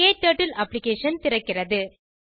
க்டர்ட்டில் அப்ளிகேஷன் திறக்கிறது